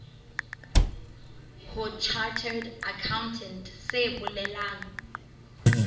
ho chartered accountant se bolelang